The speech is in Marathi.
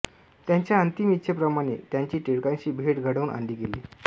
त्यांच्या अंतिम इच्छेप्रमाणे त्यांची टिळकांशी भेट घडवून आणली गेली